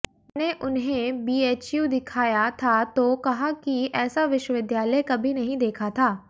मैंने उन्हें बीएचयू दिखाया था तो कहा कि ऐसा विश्वविद्यालय कभी नहीं देखा था